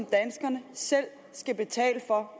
danskerne selv betale for